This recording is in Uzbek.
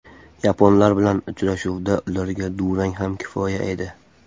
Yaponlar bilan uchrashuvda ularga durang ham kifoya edi.